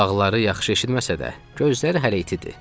Qulaqları yaxşı eşitməsə də, gözləri hələ itidir.